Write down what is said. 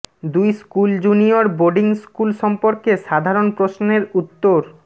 দুই school junior boarding school সম্পর্কে সাধারণ প্রশ্নের উত্তর